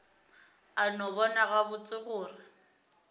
a no bona gabotse gore